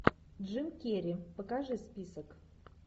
джим керри покажи список